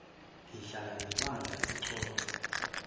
ngihlala nebandla sixoxe